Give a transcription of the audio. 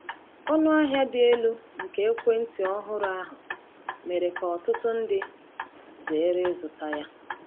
Ọnụ ahịa dị elu nke ekwentị ọhụrụ ahụ mere ka ọtụtụ ndị zere ịzụta ya.